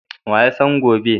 Wa ya san gobe?